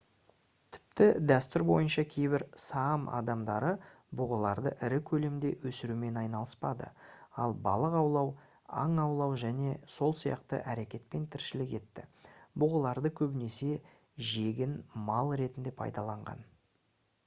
тіпті дәстүр бойынша кейбір саам адамдары бұғыларды ірі көлемде өсірумен айналыспады ал балық аулау аң аулау және сол сияқты әрекетпен тіршілік етті бұғыларды көбінесе жегін мал ретінде пайдаланған